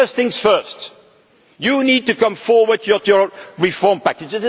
as well. But first things first you need to come forward with your reform